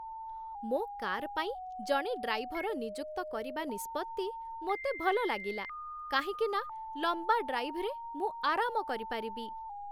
ମୋ କାର୍ ପାଇଁ ଜଣେ ଡ୍ରାଇଭର ନିଯୁକ୍ତ କରିବା ନିଷ୍ପତ୍ତି ମୋତେ ଭଲ ଲାଗିଲା, କାହିଁକି ନା ଲମ୍ବା ଡ୍ରାଇଭ୍‌ରେ ମୁଁ ଆରାମ କରିପାରିବି।